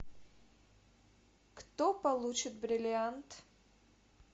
кто получит бриллиант